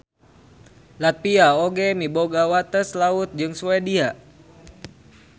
Latvia oge miboga wates laut jeung Swedia.